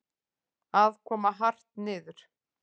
Að koma hart niður